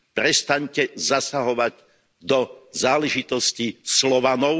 Prestaňte zasahovať do záležitostí Slovanov.